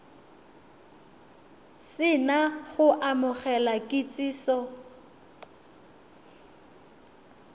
se na go amogela kitsiso